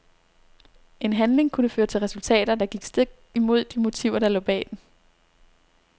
En handling kunne føre til resultater, der gik stik imod de motiver der lå bag den.